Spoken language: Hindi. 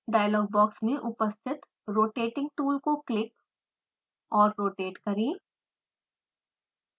डायलॉग बॉक्स में उपस्थित रोटेटिंग टूल को क्लिक और रोटेट करें